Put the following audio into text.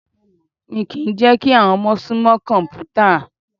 Mi kìí n jẹ́ kí àwọn ọmọ sún mọ́ kọ̀mpútà.